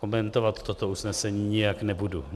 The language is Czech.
Komentovat toto usnesení nijak nebudu.